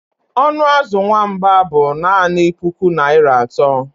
Ọnụ azụ nwamba bụ naanị puku naira atọ